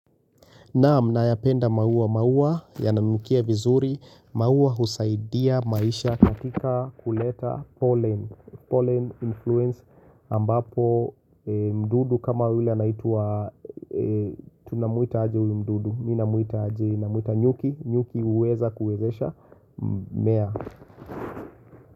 Naam, nayapenda maua, maua yananukia vizuri, maua husaidia maisha katika kuleta pollen, pollen influence ambapo mdudu kama yule anaitwa, tunamuita aje huyu mdudu, mimi namuita aje, namuita nyuki, nyuki huweza kuwezesha, mmea.